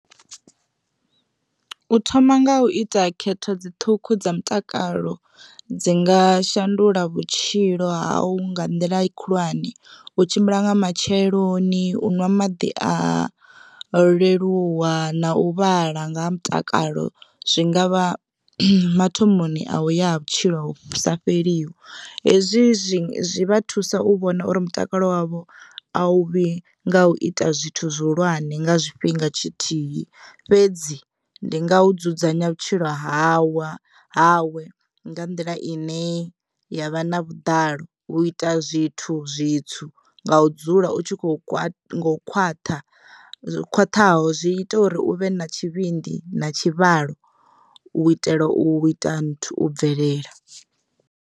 U thoma nga u ita khetho dzi ṱhukhu dza mutakalo dzi nga shandula vhutshilo ha u nga nḓila khulwane u tshimbila nga matsheloni, u ṅwa maḓi a leluwa na u vhala nga ha mutakalo zwingavha mathomoni a u ya ha vhutshilo vhu sa fheliho. Hezwi zwi vha thusa u vhona uri mutakalo wavho a u vhi nga u ita zwithu zwihulwane nga zwiifhinga tshithihi fhedzi ndi nga u dzudzanya vhutshilo hawa hawe nga nḓila ine yavha na vhuḓalo u ita zwithu zwitswu nga udzula utshikho khwat ngo u khwaṱha zwo khwaṱhaho zwi ita uri uvhe na tshivhindi na tshivhalo u itela u ita nthu u bvelela.